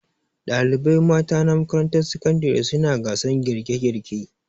Dalibai mata na makarantar sakandare suna gasan girke girke